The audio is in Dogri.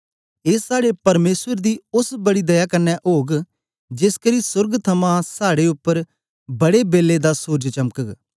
ए साड़े परमेसर दी ओस बड़ी दया कन्ने ओग जेसकरी सोर्ग थमां साड़े उपर बड़े बेलै दा सूरज चमकग